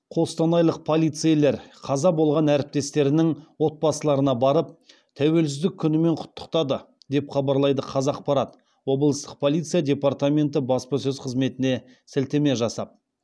қостанайлық полицейлер қаза болған әріптестерінің отбасыларына барып тәуелсіздік күнімен құттықтады деп хабарлайды қазақпарат облыстық полиция департаменті баспасөз қызметіне сілтеме жасап